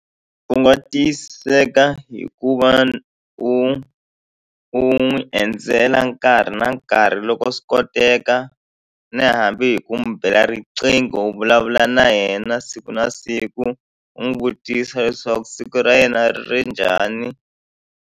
U nga tiyisiseka hikuva u u n'wi endzela nkarhi na nkarhi loko swi koteka ni hambi hi ku n'wi bela riqingho u vulavula na yena siku na siku u n'wi vutisa leswaku siku ra yena ri ri njhani.